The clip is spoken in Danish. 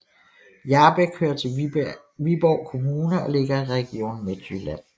Hjarbæk hører til Viborg Kommune og ligger i Region Midtjylland